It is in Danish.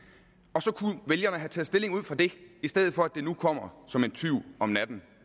og så kunne vælgerne have taget stilling ud fra det i stedet for at det nu kommer som en tyv om natten